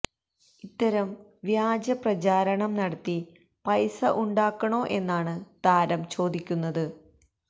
ഇത്തരം വ്യാജ പ്രചാരണം നടത്തി പൈസ ഉണ്ടാക്കണോ എന്നാണ് താരം ചോദിക്കുന്നത്